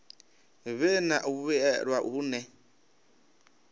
vhe na u vhuelwa hune